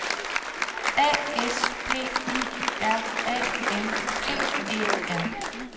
A S P I R A N T E R